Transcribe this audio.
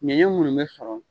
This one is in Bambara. Ɲɛnɲɛn mun bɛ sɔrɔ.